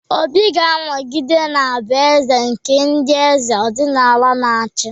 Obi ga-anọgide na-abụ aha eze nke ndị eze ọdịnala na-achị.